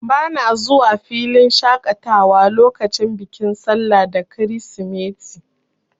Bana zuwa filin shaƙatawa lokacin bikin sallah da kirisimeti.